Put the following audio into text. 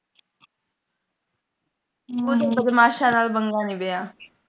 ਦੀਕਸ਼ਾ ਨਾਲ ਪੰਗਾ ਨੀ ਪਿਆ